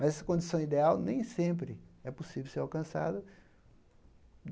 Mas essa condição ideal nem sempre é possível ser alcançada.